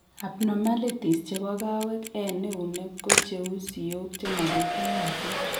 Abnormalities chebo kawek en eunek ko cheu siok chemabitunatin